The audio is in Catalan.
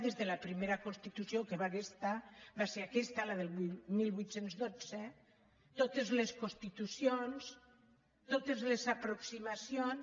des de la primera constitució que va ser aquesta la del divuit deu dos totes les constitucions totes les aproximacions